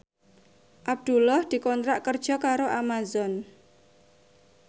Abdullah dikontrak kerja karo Amazon